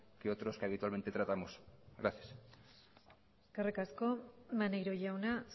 que otros que habitualmente tratamos gracias eskerrik asko maneiro jauna